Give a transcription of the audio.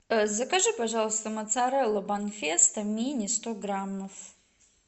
закажи пожалуйста моцарелла банфесто мини сто граммов